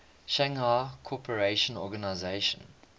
shanghai cooperation organization